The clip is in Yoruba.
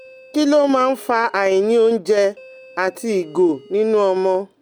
Kí ló máa ń fa àìní oúnjẹ àti ìgò nínú ọmọ?